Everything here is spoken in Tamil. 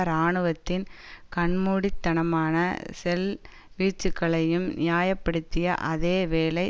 இராணுவத்தின் கண்மூடித்தனமான ஷெல் வீச்சுக்களையும் நியாய படுத்திய அதே வேளை